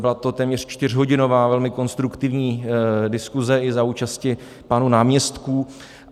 Byla to téměř čtyřhodinová, velmi konstruktivní diskuze i za účasti pánů náměstků.